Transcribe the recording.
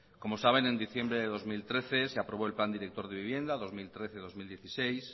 como saben en diciembre de dos mil trece se aprobó el plan director de vivienda dos mil trece dos mil dieciséis